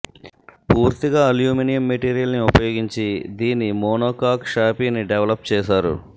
పూర్తిగా అల్యూమినియం మెటీరియల్ని ఉపయోగించి దీని మోనోకాక్ షాషీని డెవలప్ చేశారు